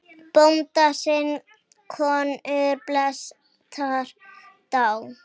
Bónda sinn konur flestar dá.